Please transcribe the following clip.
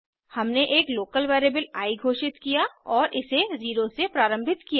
हमने एक local variable I घोषित किया और इसे 0 से प्रारम्भित किया